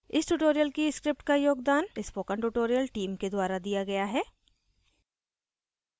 इस tutorial की script का योगदान spoken tutorial team के द्वारा दिया गया है